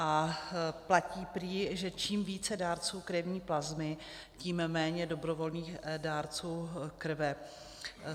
A platí prý, že čím více dárců krevní plazmy, tím méně dobrovolných dárců krve.